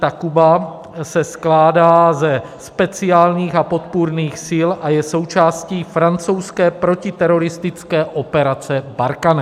Takuba se skládá ze speciálních a podpůrných sil a je součástí francouzské protiteroristické operace Barkhane.